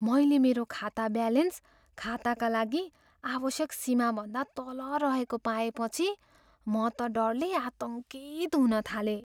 मैले मेरो खाता ब्यालेन्स खाताका लागि आवश्यक सीमाभन्दा तल रहेको पाएँपछि म त डरले आतङ्कित हुन थालेँ।